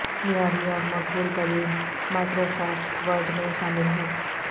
معیاری اور مقبول ترین مائیکروسافٹ ورڈ میں شامل ہیں